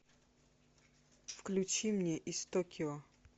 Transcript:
включи мне из токио